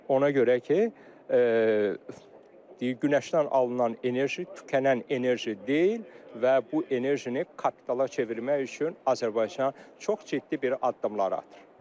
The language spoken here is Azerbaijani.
Ona görə ki, günəşdən alınan enerji tükənən enerji deyil və bu enerjini kapitala çevirmək üçün Azərbaycan çox ciddi bir addımlar atır.